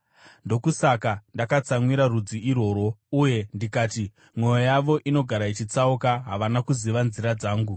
Ndokusaka ndakatsamwira rudzi irworwo, uye ndikati, ‘Mwoyo yavo inogara ichitsauka, havana kuziva nzira dzangu.’